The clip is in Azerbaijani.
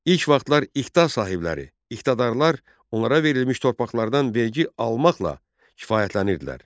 İlk vaxtlar iqta sahibləri, iqtadarlar onlara verilmiş torpaqlardan vergi almaqla kifayətlənirdilər.